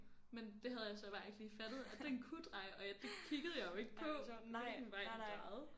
Men det havde jeg så bare ikke lige fattet at den kunne dreje og det kiggede jeg jo ikke på hvilken vej den drejede